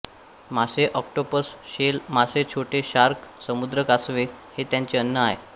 मासे octopus shell मासे छोटे शार्क समुद्र कासवे हे त्यांचे अन्न आहे